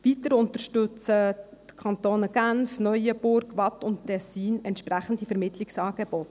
Weiter unterstützen die Kantone Genf, Neuenburg, Waadt und Tessin entsprechende Vermittlungsangebote.